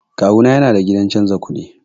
Kawuna yana da gidan canza kuɗi.